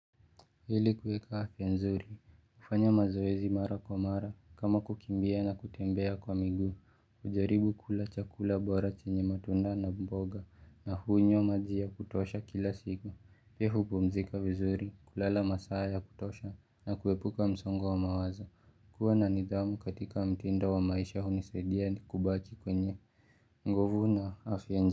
Ili kuweka afya nzuri, hufanya mazoezi mara kwa mara, kama kukimbia na kutembea kwa miguu, kujaribu kula chakula bora chenye matunda na mboga, na hunywa maji ya kutosha kila siku. Pia huoumzika vizuri, kulala masaa ya kutosha, na kuepuka msongo wa mawazo, kuwa na nidhamu katika mtindo wa maisha hunisaidia kubaki kwenye. Nguvu na afya nzuri.